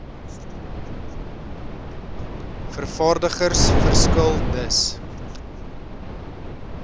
vervaardigers verskil dus